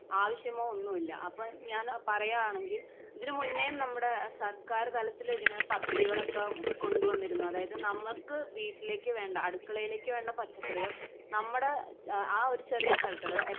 ആവശ്യമോ ഒന്നും ഇല്ല അപ്പൊ ഞാൻ പറയാണെങ്കി ഇതിന് മുന്നേം നമ്മുടെ സർക്കാർ തലത്തിൽ ഇതിനെ പദ്ധധികളൊക്കെ കൊണ്ട് വന്നിരുന്നു അതായത് നമ്മക്ക് വീട്ടിലേക്ക് വേണ്ട അടുക്കളയിലേക്ക് വേണ്ട പച്ചക്കറിൾ നമ്മടെ ആ ഒരു ചെറിയ സ്ഥലത്ത്.അത്